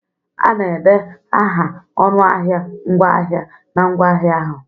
A na-ede aha ọnụahịa ngwaahịa na ngwaahịa ahụ.